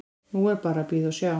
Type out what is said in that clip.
Nú er bara að bíða og sjá.